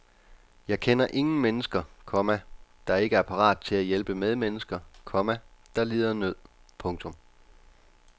Jeg kender ingen mennesker, komma der ikke er parate til at hjælpe medmennesker, komma der lider nød. punktum